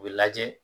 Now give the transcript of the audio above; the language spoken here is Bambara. U bɛ lajɛ